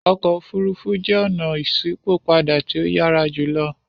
Ọkọ ofurufu jẹ ọna iṣipopada ti o yara julo.